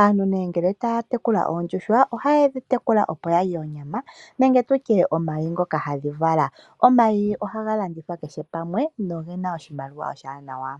Aantu nee nge taya tekula oondjuhwa, ohaye dhi tekula opo ya lye onyama nenge tu lye omayi ngoka hadhi vala. Omayi ohaga landithwa keshe pamwe no gena oshimaliwa oshiwanawa.